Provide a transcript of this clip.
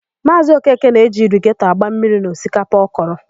Maazị Okeke na-eji irigetọ agba mmiri n'osikapa ọ kọrọ.